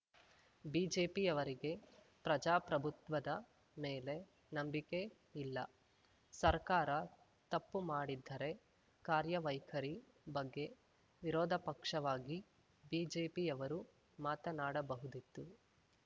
ಬಿಜೆಪಿಯವರಿಗೆ ಪ್ರಜಾಪ್ರಭುತ್ವದ ಮೇಲೆ ನಂಬಿಕೆ ಇಲ್ಲ ಸರ್ಕಾರ ತಪ್ಪು ಮಾಡಿದ್ದರೆ ಕಾರ್ಯವೈಖರಿ ಬಗ್ಗೆ ವಿರೋಧಪಕ್ಷವಾಗಿ ಬಿಜೆಪಿಯವರು ಮಾತನಾಡಬಹುದಿತ್ತು